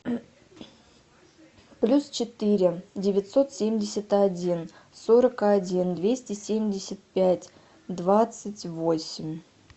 плюс четыре девятьсот семьдесят один сорок один двести семьдесят пять двадцать восемь